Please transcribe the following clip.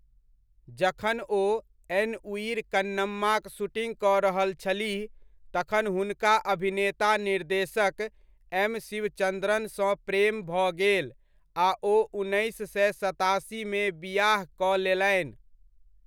जखन ओ एन उयिर कन्नम्माक शूटिंग कऽ रहल छलीह, तखन हुनका अभिनेता निर्देशक, एम. शिवचन्द्रनसँ प्रेम भऽ गेल आ ओ उन्नैस सए सतासीमे बिआह कऽ लेलनि।